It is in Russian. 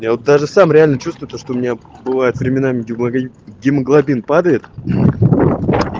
я вот даже сам реально чувствую то что у меня бывает временами гемоглобин падает